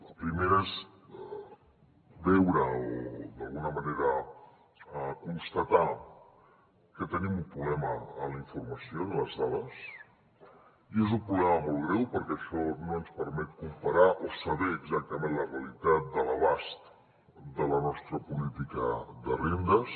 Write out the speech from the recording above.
el primer és veure o d’alguna manera constatar que tenim un problema en la informació en les dades i és un problema molt greu perquè això no ens permet comparar o saber exactament la realitat de l’abast de la nostra política de rendes